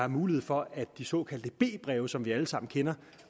mulighed for at de såkaldte b breve som vi alle sammen kender